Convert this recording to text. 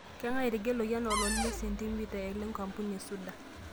keng'ae etegeluaki anaa oloti le sentimita lenkampuni esuda